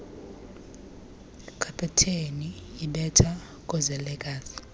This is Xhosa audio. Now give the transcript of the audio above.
kapeteni ibetha koozelekazi